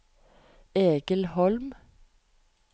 Egil Holm